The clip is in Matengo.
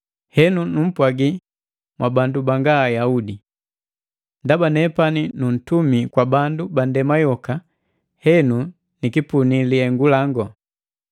Henu, numpwagi mwa bandu banga Ayaudi. Ndaba nepani nuntumi kwa bandu bandema yoka, henu nikipuni lihengu lango,